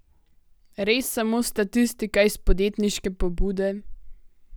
Res samo statistika iz podjetniške pobude?